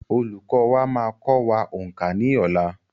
Olùkọ́ wa máa kọ wá òǹkà ní ọ̀la.